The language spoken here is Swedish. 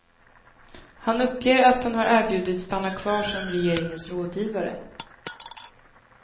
Han uppger att han har erbjudits stanna kvar som regeringens rådgivare.